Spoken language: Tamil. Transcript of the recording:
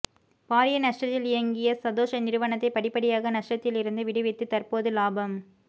பாரிய நஷ்டத்தில் இயங்கிய சதொச நிறுவனத்தை படிப்படியாக நஷ்டத்திலிருந்து விடுவித்து தற்போது இலாபம்